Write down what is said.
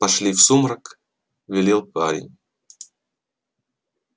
пошли в сумрак велел парень